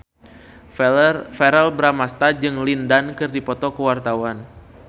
Verrell Bramastra jeung Lin Dan keur dipoto ku wartawan